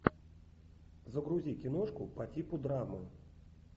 загрузи киношку по типу драмы